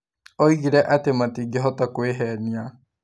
Oigire atĩ matingĩhota kwĩhenia.